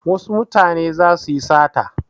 Wasu mutane za su yi sata.